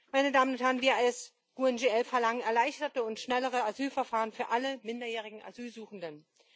Meine Damen und Herren, wir als GUE NGL verlangen erleichterte und schnellere Asylverfahren für alle minderjährigen Asylsuchenden.